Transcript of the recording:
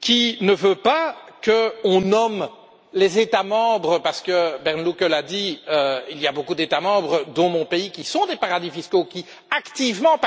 qui ne veut pas que l'on nomme les États membres, parce que Bernd Lucke l'a dit il y a beaucoup d'États membres, dont mon pays, qui sont des paradis fiscaux et qui participent activement